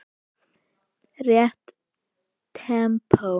Rétt tempó.